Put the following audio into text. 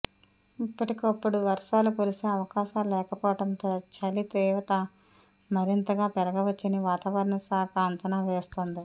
ఇప్పటికిప్పుడు వర్షాలు కురిసే అవకాశాలు లేకపోవడంతో చలి తీవ్రత మరింతగా పెరగవచ్చని వాతావరణ శాఖ అంచనా వేస్తోంది